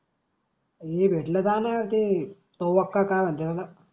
ही भेटल गण मनते कोवक का म्हणते त्याला.